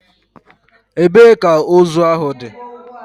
Ebee ka ozu ahụ dị?